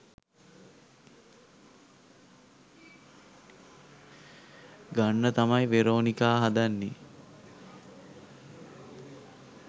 ගන්න තමයි වෙරෝනිකා හදන්නේ